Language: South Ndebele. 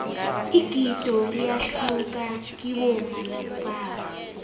igido liyahluka kibomma nabobaba